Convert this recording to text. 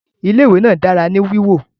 Ilé ìwé náà dára ní wíwọ